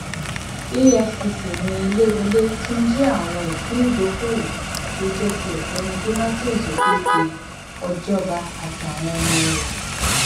efcc ni eléwolé tún jí àwọn ìpín ìdókoòwò tó jẹ ti ọgbẹni donatus òkèkè ọjọba àtàwọn ọmọ rẹ